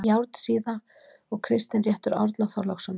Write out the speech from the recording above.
járnsíða og kristinréttur árna þorlákssonar